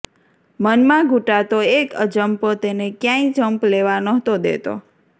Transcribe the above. મનમાં ઘૂંટાતો એક અજંપો તેને કયાંય જંપ લેવા નહોતો દેતો